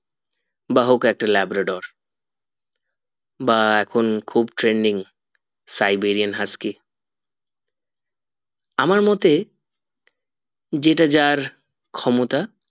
বা হোক একটা labrador বা এখন খুব trending Siberian husky আমার মতে যেটা যার ক্ষমতা